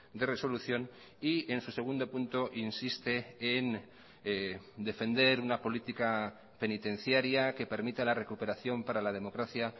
de resolución y en su segundo punto insiste en defender una política penitenciaria que permita la recuperación para la democracia